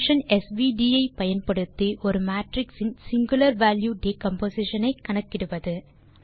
function svd ஐ பயன்படுத்தி ஒரு மேட்ரிக்ஸ் இன் சிங்குலர் வால்யூ டிகம்போசிஷன் ஐ கணக்கிடுவது